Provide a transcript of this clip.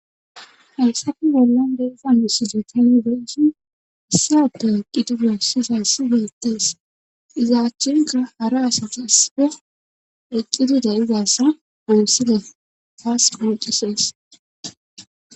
Hayisappe bollon deegan yusside talibeeshin issa ada eqqidi goossisa sigeettees izaachchenka hara asati issida eqqidi dayizassa goossile taas quucisees.